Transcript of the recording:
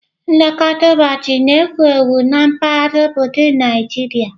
Nlekọta ụbọchị na-ewu ewu na mpaghara obodo Nigeria.